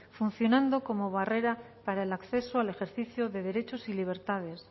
funcionando como barrera para el acceso al ejercicio de derechos y libertades